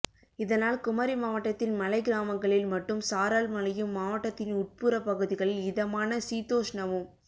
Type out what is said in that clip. இதனால் குமரி மாவட்டத்தின் மலை கிராமங்களில் மட்டும் சாரல் மழையும் மாவட்டத்தின் உட்புற பகுதிகளில் இதமான சீதோஷ்ணமும்